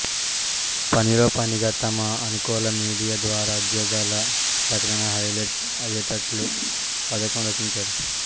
పనిలో పనిగా తమ అనుకూల మీడియా ద్వారా ఉద్యోగాల ప్రకటన హైలెట్ అయ్యేట్లు పథకం రచించారు